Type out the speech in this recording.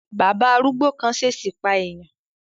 Bàbá arúgbó kan ṣesi pa eèyàn